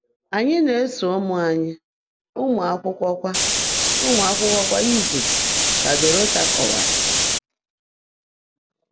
“Anyị na-eso ụmụ anyị amụ akwụkwọ kwa amụ akwụkwọ kwa izu,” ka Dorota kọwara.